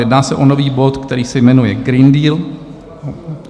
Jedná se o nový bod, který se jmenuje Green Deal.